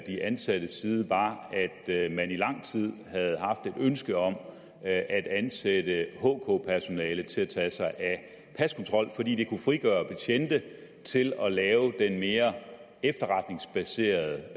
de ansattes side var at man i lang tid havde haft et ønske om at ansætte hk personale til at tage sig af paskontrol fordi det kunne frigøre betjente til at lave den mere efterretningsbaserede